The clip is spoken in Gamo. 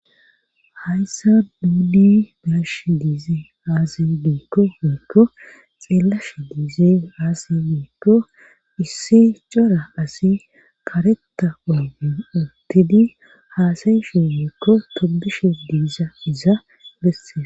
Hayissan nuni be'ashe diizey aze giikko woyiikko xeellashe diizey issi cora asi kareta oyden uttidi haasayshe woykko tobishe diizayiza besses.